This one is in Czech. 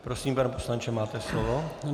Prosím, pane poslanče, máte slovo.